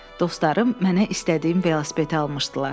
Dostlarım mənə istədiyim velosipedi almışdılar.